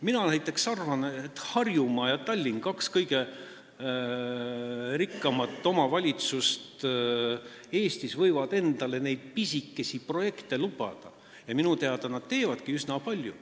Mina näiteks arvan, et Harjumaa ja Tallinn, kaks kõige rikkamat omavalitsust Eestis, võivad endale neid pisikesi projekte lubada ja minu teada nad teevadki neid üsna palju.